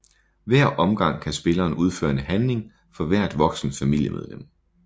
Hver omgang kan spilleren udføre en handling for hvert voksent familiemedlem